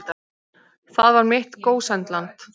Þar var mitt gósenland.